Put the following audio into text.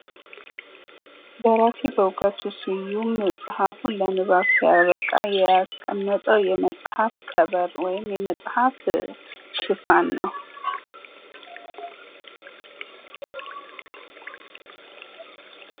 ደራሲ በእውቀቱ ስዩም መጽሐፉን ለንባብ ሲያበቃ ያስቀመጠው የመጽሐፍ ከቨር ወይም የመጽሐፍ ሽፋን ነው።